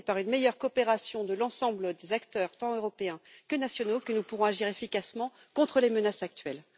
C'est par une meilleure coopération de l'ensemble des acteurs tant européens que nationaux que nous pourrons agir efficacement contre les menaces actuelles.